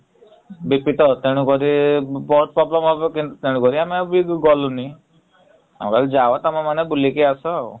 ବେଶୀତ ତେଣୁ କରି ଆମେ ଆଉ କେହି ଗଲୁନି । ହଉ ଭାଇ ଯାଅ ତମେମାନେ ବୁଲିକି ଆସ ଆଉ ।